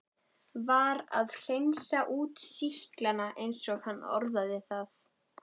Var að hreinsa út sýklana eins og hann orðaði það.